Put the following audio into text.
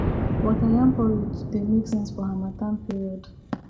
water yam porridge dey make sense for harmattan period